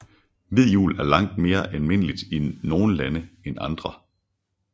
Hvid jul er langt mere almindeligt i nogle lande end andre